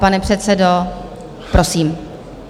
Pane předsedo, prosím.